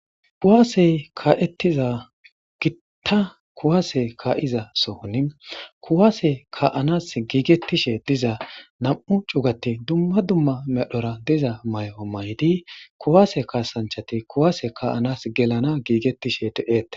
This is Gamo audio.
Kuwase ka'etiza gita kuwase ka'za Sohoni kuwase ka'anas gigetishe diza nam'u c'ugati duma duma medhora diza mayo mayidi kuwase kasanchati kuwase ka'anas gelana gigetishe de'etes.